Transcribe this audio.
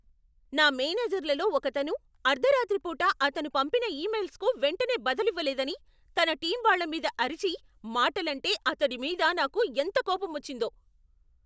నా మేనేజర్లలో ఒకతను అర్ధరాత్రి పూట అతను పంపిన ఇమెయిల్స్కు వెంటనే బదులివ్వలేదని తన టీం వాళ్ళమీద అరిచి, మాటలంటే అతడి మీద నాకు ఎంత కోపమొచ్చిందో.